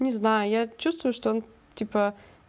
не знаю я чувствую что он типа